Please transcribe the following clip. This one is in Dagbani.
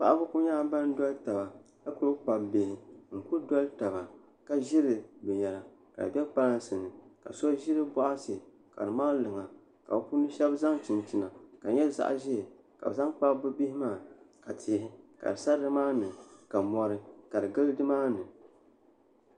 Paɣaba ku nyɛla ban doli taba ka ku kpabi bihi n ku doli taba ka ʒiri binyɛra ka di bɛ kpalansi ni ka so ʒiri boɣati ka di mali luŋa ka shab so chinchina ka di nyɛ zaɣ ʒiɛ ka kpabi bi bihi maa ka tihi sa nimaani ka mɔri ka di bɛ nimaani